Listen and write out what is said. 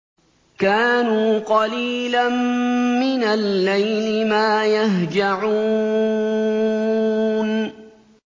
كَانُوا قَلِيلًا مِّنَ اللَّيْلِ مَا يَهْجَعُونَ